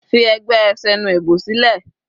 Fi ẹgbẹ́ Senuebo sílẹ̀.